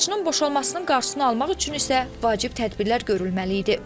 Laçının boşalmasının qarşısını almaq üçün isə vacib tədbirlər görülməli idi.